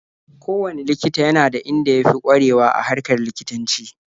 Kowanne likita yana da inda ya fi ƙwarewa a harkar likitanci.